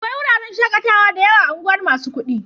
Akwai wuraren shaƙatawa da yawa a unguwar masu kuɗi.